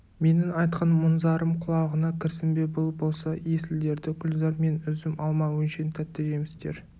менің айтқан мұң-зарым құлағына кірсін бе бұл болса есіл-дерті гүлзар мен үзім алма өңшең тәтті жемістер